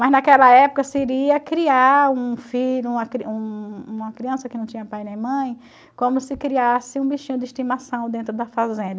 Mas naquela época seria criar um filho, uma criança que não tinha pai nem mãe, como se criasse um bichinho de estimação dentro da fazenda.